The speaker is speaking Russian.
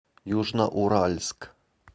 южноуральск